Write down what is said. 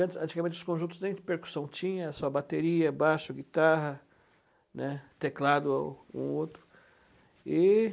Antigamente os conjuntos nem percussão tinha, só bateria, baixo, guitarra, né, teclado um ou outro.